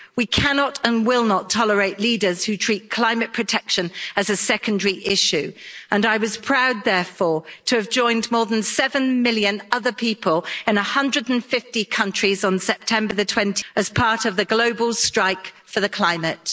We cannot and will not tolerate leaders who treat climate protection as a secondary issue and I was proud, therefore, to have joined more than 7 million other people in 150 countries on 20 September as part of the global strike for the climate.